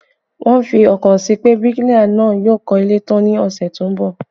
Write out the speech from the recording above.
Wọ́n fi ọkàn sí pé bíríkìlà náà yóò kọ́ ilé tán ní ọ̀sẹ̀ tó ń bọ̀